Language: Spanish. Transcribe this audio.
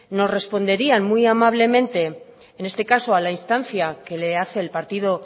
nos responderían muy amablemente en este caso a la instancia que le hace el partido